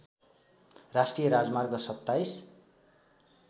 राष्ट्रिय राजमार्ग २७